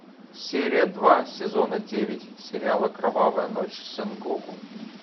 серия два сезона девять сериала кровавая ночь сэнгоку